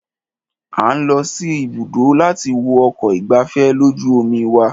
A ń lọ sí ibùdó láti wo ọkọ̀ ìgbafẹ́fẹ́ lójú omi wa.